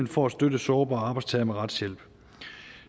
for at støtte sårbare arbejdstagere med retshjælp